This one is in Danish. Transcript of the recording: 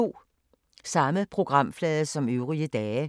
Samme programflade som øvrige dage